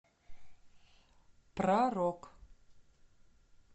про рок